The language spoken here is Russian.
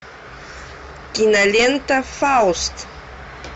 кинолента фауст